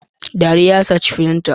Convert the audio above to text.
Dariya ya saci firinta.